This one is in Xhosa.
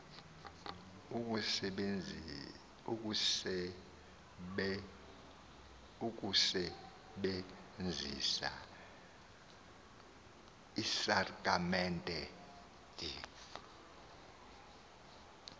ukusebenzisa iisakramente de